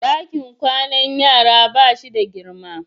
Dakin kwanan yara ba shi da girma.